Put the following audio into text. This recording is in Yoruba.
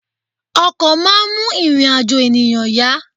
Ọkọ̀ máa ń mú ìrìn-àjò ènìyàn yá.